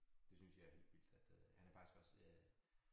Det synes jeg er hyggeligt at øh han er faktisk også øh